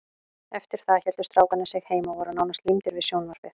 Eftir það héldu strákarnir sig heima og voru nánast límdir við sjónvarpið.